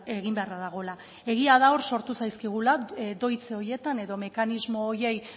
egin beharra dagoela egia da hor sortu zaizkigula doitze horietan edo mekanismo horiei